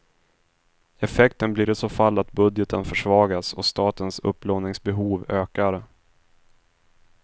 Effekten blir i så fall att budgeten försvagas och statens upplåningsbehov ökar.